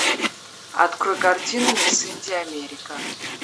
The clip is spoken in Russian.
открой картину мисс индия америка